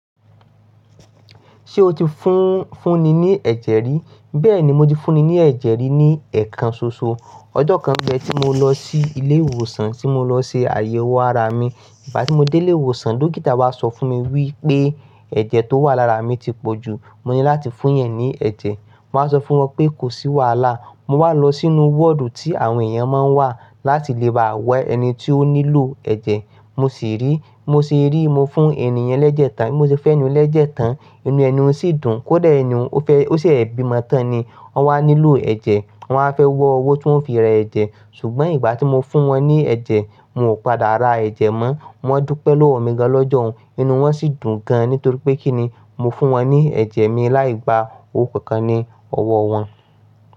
Ṣé o ti fún, fún ni ní ẹ̀jẹ̀ rí? Bẹ́ẹ̀ni, mo ti fún ni ní ẹ̀jẹ̀ rí ní ẹ̀kan soso. Ọjọ́ kan nbẹ, tí mo lọ sí ilé ìwòsàn tí mo lọ ṣe àyẹ̀wò ara mi. Ìgbà tí mo dé ilé ìwòsàn, dókítà wá sọ fún mi wípé ẹ̀jẹ̀ tó wà lára mi ti pọ̀ jù. Mo ní láti fún yẹn ní ẹ̀jẹ̀. Mo wá sọ fún wọn pé kò sí wàhálà. Mo wá lọ sínú wọ́ọ̀dù tí àwọn èèyàn máa ń wà láti lè bá wẹ ẹni tí ó nílò ẹ̀jẹ̀. Mo sì rí, mo sì rí i, mo fún ènìyàn lẹ́jẹ̀ẹ́ta, mo sì fẹ́nu lẹ́jẹ̀ẹ́ta, inú ẹniun sì dùn. Kódà ẹniun o fẹ, ó sẹ̀ bímọ tán ni. Wọ́n wá nílò ẹ̀jẹ̀, wọ́n á fẹ́ wọ owó tí wọ́n fi ra ẹ̀jẹ̀. Ṣùgbọ́n ìgbà tí mo fún wọn ní ẹ̀jẹ̀, wọ́n ò padà ra ẹ̀jẹ̀ mọ́. Wọ́n dúpẹ̀ lọwọ mi gan lọ́jọ́ hun, inú wọn sì dùn gan. Nítorí pé kí ni, mo fún wọn ní ẹ̀jẹ̀ mi láì gba owó kankan ní ọwọ́ wọn.